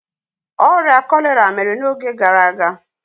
Ọrịa kọlera mere n'oge gara aga.